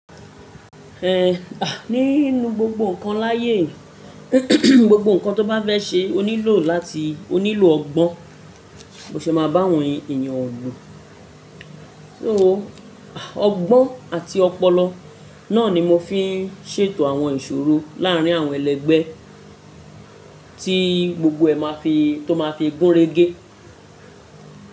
Ẹ̀, nínu gbogbo ǹkan láyé, gbogbo ǹkan tó bá fẹ́ ṣe oní lọ láti oní lọ ọgbọ́n. Mo ṣe máa bá àwọn ènìyàn lò. So ọgbọ́n àti ọpọlọ náà ni mo fi ń ṣètò àwọn ìṣòro láàrín àwọn ẹlẹ́gbẹ́ tí gbogbo ẹ máa fi tó máa fi gúnrégé.